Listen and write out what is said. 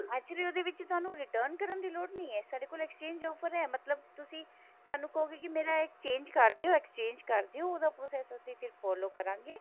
actually ਉਹਦੇ ਵਿੱਚ ਥੋਨੂੰ return ਕਰਨ ਦੀ ਲੋੜ ਨਹੀ ਹੈ ਤੁਹਾਡੇ ਕੋਲ exchange offer ਹੈ ਤੁਸੀਂ ਸਾਨੂੰ ਕਹੋਗੇ ਕੀ ਮੇਰਾ exchange ਕਰ ਦਿਓ exchange ਕਰ ਦਿਓ ਉਹਦਾ process ਫ਼ੇਰ ਅਸੀਂ follow ਕਰਾਂਗੇ